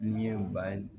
N'i ye u ka